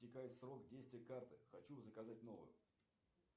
истекает срок действия карты хочу заказать новую